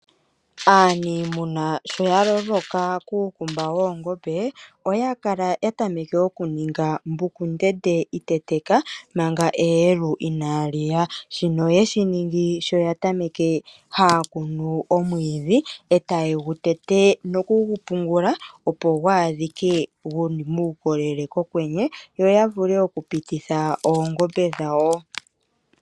Aaniimuna sho ya loloka kuukumba woongombe, oya tameke okuninga mbuku ndende iteteka manga eyelu inaa li ya. Shino oye shi ningi sho ya tameke ha ya kunu omwiidhi etaye gu tete, no ku gu pungula opo gwaadhike gu li muukolele pokwenye yo vule okupititha oongombe dhawo.